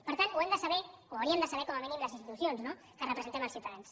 per tan ho hem de saber o ho hauríem de saber com a mínim les institucions no que representem els ciutadans